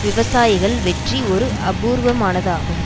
விவசாயிகள் வெற்றி ஒரு அபூர்வமானதாகும்